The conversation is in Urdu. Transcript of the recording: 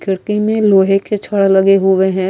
کھڑکی مے لوہے کے چھڈ لگے ہوئے ہے۔